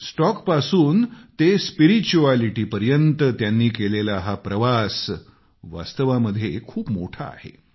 स्टॉकपासून ते स्पिरिच्युएलिटीपर्यंत त्यांनी केलेला हा प्रवास वास्तवामध्ये खूप मोठा आहे